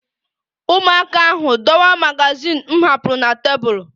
Ụmụaka ahụ dọwaa magazin m hapụrụ na tebụl